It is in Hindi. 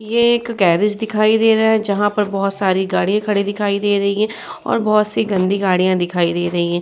ये एक गैरेज दिखाई दे रहे है जहाँ पर बोहोत सारी गाड़ीया खड़ी दिखाई दे रही है और बोहोत सी गंदी गाड़िया दिखाई दे रहे है।